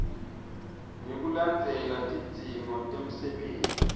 ngekulandzela tidzingo temsebenti